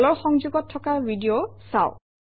তলৰ সংযোগত থকা ভিডিঅ চাওক